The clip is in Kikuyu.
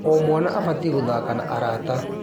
O mwana abatiĩ gũthaka na arata.